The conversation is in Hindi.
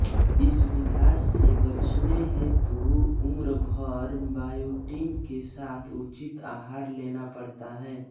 इस विकार से बचने हेतु उम्रभर बायोटिन के साथ उचित आहार लेना पड़ता है